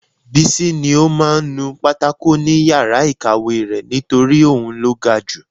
Bísí ní ó máa ń nu pátákò ni yàrá ìkàwé rẹ̀ nítorí òun ló ga ju